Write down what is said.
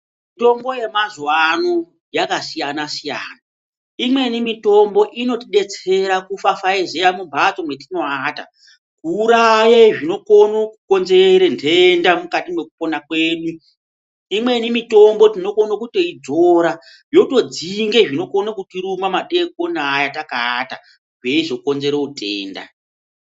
Mitombo yemazuwa ano yakasiyana -siyana. Imweni mitombo inotidetsera kufafaiziya mumhatso mwetinoata kuuraye zvinokone kukonzere ntenda mukati mwekupona kwedu. Imweni mitombo tinokona kutoidzora yotodzinge zvinokone kutiruma madeikoni aya takaata zveizokonzere utenda.